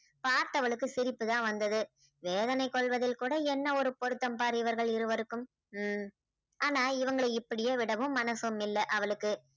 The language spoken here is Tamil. பார்தவளுக்கு சிரிப்புதான் வந்தது வேதனை கொள்வதில் கூட என்ன ஒரு பொறுத்தம் பார் இவர்கள் இருவருக்கும் ஹம் ஆனால் இவங்களை இப்படியே விடவும் மனசும் இல்லை அவளுக்கு